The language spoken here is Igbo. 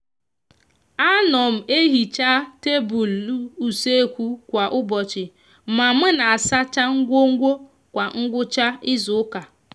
a no m ehicha tablu usekwu kwa ubochi ma m n'asacha ngwongwo kwa ngwucha izuuka